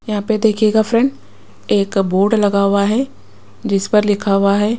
यहां पे देखिएगा फ्रेंड एक बोर्ड लगा हुआ है जिस पर लिखा हुआ है।